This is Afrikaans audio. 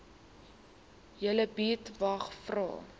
julle buurtwag vra